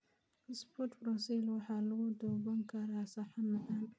sprouts Brussels waxaa lagu duban karaa saxan macaan.